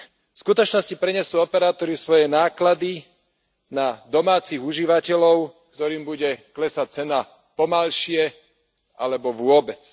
V skutočnosti prenesú operátori svoje náklady na domácich užívateľov, ktorým bude klesať cena pomalšie alebo vôbec.